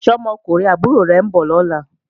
Ṣé ọmọkùnrin àbúrò rẹ̀ ń bọ̀ lọ́la?